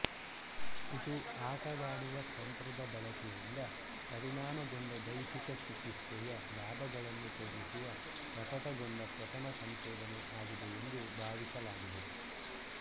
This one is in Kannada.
ಇದು ಆಟವಾಡುವ ತಂತ್ರದ ಬಳಕೆಯಿಂದ ಪರಿಣಾಮಗೊಂಡ ದೈಹಿಕ ಚಿಕಿತ್ಸೆಯ ಲಾಭಗಳನ್ನು ತೋರಿಸುವ ಪ್ರಕಟಗೊಂಡ ಪ್ರಥಮ ಸಂಶೋಧನೆ ಆಗಿದೆ ಎಂದು ಭಾವಿಸಲಾಗಿದೆ